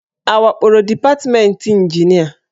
A wakporo departmentị ịnjinịa?